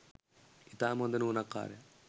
ඉතාම හොඳ නුවණක්කාරයා.